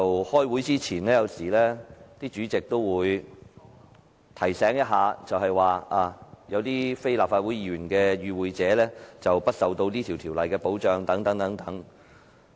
開會前，主席有時會提醒大家有非立法會議員的與會者將不受此這條例的保障。